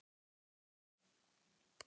Af bláum manni á leið í fjöru